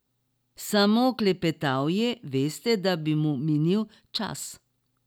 Samo klepetal je, veste, da bi mu minil čas.